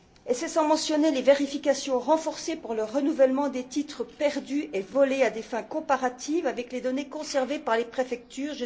Sans compter les vérifications renforcées pour le renouvellement des titres perdus et volés à des fins comparatives avec les données conservées par les préfectures.